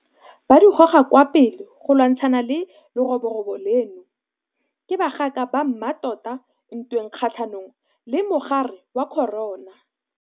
Ba di goga kwa pele go lwantshana le leroborobo leno. Ke bagaka ba mmatota ntweng kgatlhanong le mogare wa corona.